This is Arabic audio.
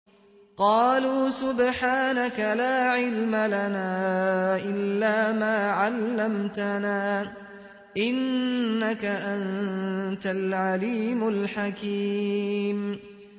قَالُوا سُبْحَانَكَ لَا عِلْمَ لَنَا إِلَّا مَا عَلَّمْتَنَا ۖ إِنَّكَ أَنتَ الْعَلِيمُ الْحَكِيمُ